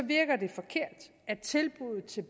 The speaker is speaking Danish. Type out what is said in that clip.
virker det forkert at tilbuddet til